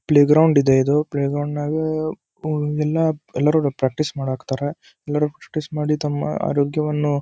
play ground ಇದೆ ಇದು play ಗ್ರೌಂಡಾಗ ಎಲ್ಲರೂ ಪ್ರಾಕ್ಟೀಸ್ ಮಾಡಾಕತ್ತಾರ ಎಲ್ಲರೂ ಪ್ರಾಕ್ಟೀಸ್ ಮಾಡಿ ತಮ್ಮ ಆರೋಗ್ಯವನ್ನು --